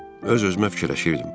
Öz-özümə fikirləşirdim.